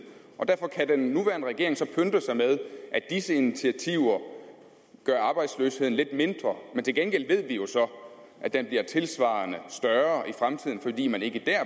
og derfor kan den nuværende regering så pynte sig med at disse initiativer gør arbejdsløsheden lidt mindre men til gengæld ved vi jo så at den bliver tilsvarende større i fremtiden fordi man ikke dér